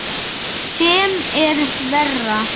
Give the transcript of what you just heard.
Sem er verra.